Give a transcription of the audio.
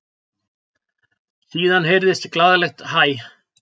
Síðan heyrðist glaðlegt hæ.